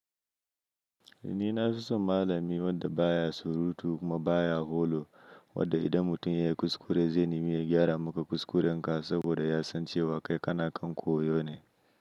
Ni na fi son malami wanda ba ya surutu kuma ba ya holo, wanda idan mutum ya yi kuskure, zai nimi gyara maka kuskurenka saboda ya san cewa kai kana kan koyo ne.